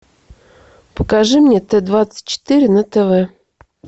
покажи мне т двадцать четыре на тв